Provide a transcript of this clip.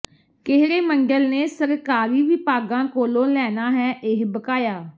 ਕਿਹੜੇ ਮੰਡਲ ਨੇ ਸਰਕਾਰੀ ਵਿਭਾਗਾਂ ਕੋਲੋਂ ਲੈਣਾ ਹੈ ਇਹ ਬਕਾਇਆ